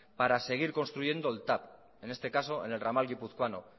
para seguir construyendo el tav en este caso en el ramal guipuzcoano